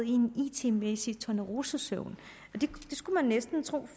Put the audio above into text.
i en it mæssig tornerosesøvn det skulle man næsten tro